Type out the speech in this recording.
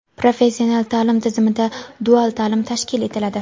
Professional taʼlim tizimida dual taʼlim tashkil etiladi.